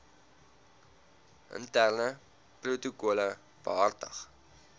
interne protokolle behartig